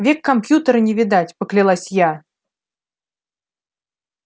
век компьютера не видать поклялась я